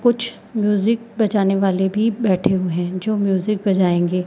कुछ म्यूजिक बजाने वाले भी बैठे हुए हैं जो म्यूजिक बजाएंगे।